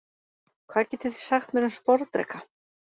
Hvað getið þið sagt mér um sporðdreka?